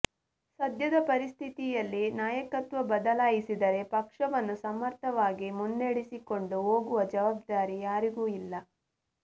ಸದ್ಯದ ಪರಿಸ್ಥಿತಿಯಲ್ಲಿ ನಾಯಕತ್ವ ಬದಲಾಯಿಸಿದರೆ ಪಕ್ಷವನ್ನು ಸಮರ್ಥವಾಗಿ ಮುನ್ನೆಡೆಸಿಕೊಂಡು ಹೋಗುವ ಜವಾಬ್ದಾರಿ ಯಾರಿಗೂ ಇಲ್ಲ